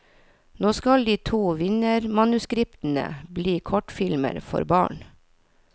Nå skal de to vinnermanuskriptene bli kortfilmer for barn.